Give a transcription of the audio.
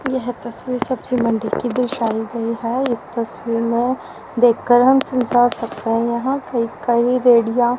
यह तस्वीर सब्जी मण्डी की दर्शाई गई है इस तस्वीर में देखकर हम समझा सकते हैं यहां पे कई रेड़ीयां--